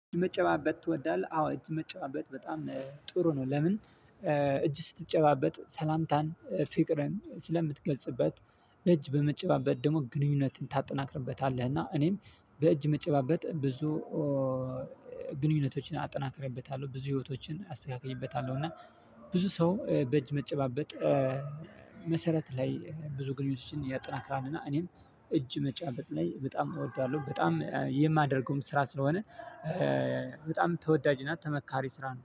መጨባበጥ ትወዳለህ አዎ እጅ መጨባበጥ በጣም ጥሩ ነው። ለምን? እጅ ስትጨባበጥ ሰላምታን ፍቅርን ስለምትገልጽበት እጅ በመጨባበጥ ደግሞ ግንኙነትን ታጠናክርበታለህ እና እኔም በእጅ መጨባበጥ ብዙ ግንኙነቶችን አጠናክሬበታለሁ። ብዙ ህይወቶችን አስተካክዬበታለሁ። እና ብዙ ሰው በእጅ መጨባበጥ መሰረት ላይ ብዙ ግንኙነቶችን ያጠናክራልና እኔም እጅ መጫባበጥ ላይ በጣም እወዳለሁ። በጣም የማደርገውም ስራ ስለሆነ። በጣም ተወዳጅ እና ተመካሪ ስራ ነው